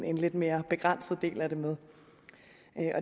en lidt mere begrænset del af det med